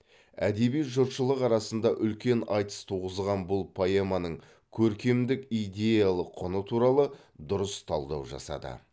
әдеби жұртшылық арасында үлкен айтыс туғызған бұл поэманың көркемдік идеялық құны туралы дұрыс талдау жасады